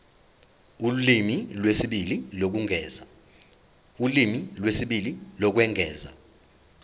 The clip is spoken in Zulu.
ulimi lwesibili lokwengeza